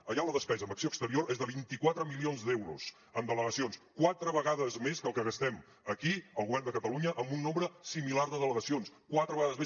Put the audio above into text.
allà la despesa en acció exterior és de vint quatre milions d’euros en delegacions quatre vegades més que el que gastem aquí el govern de catalunya amb un nombre similar de delegacions quatre vegades més